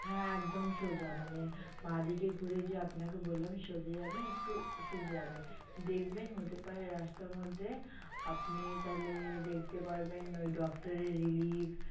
হা একদম সোজা মানে বা দিকে গুড়ে যে আপনাকে বললাম সোজা যাবেন একটু সোজা যাবেন দেখবেন হতে পারে রাস্তার মধ্যে আপনি তালে দেখতে পারবেন ঐ doctor এর relief